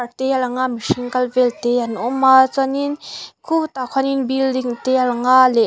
te a lang a mihring kal vel te an awm a chuanin khutah khuanin building te a lang a leh--